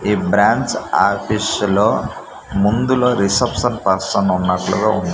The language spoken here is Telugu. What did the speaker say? ఈ బ్రాంచ్ ఆర్టిస్టులో ముందులో రిసెప్షన్ పర్సన్ ఉన్నట్లుగా ఉ--